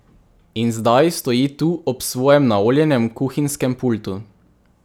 In zdaj stoji tu ob svojem naoljenem kuhinjskem pultu.